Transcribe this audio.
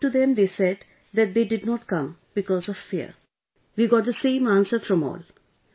When we talked to them they said that they did not come because of fear, we got the same answer from all